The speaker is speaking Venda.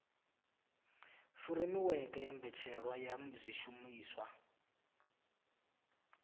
furemiweke ya mbetshelwa ya zwishumiswa